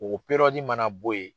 O mana bɔ ye.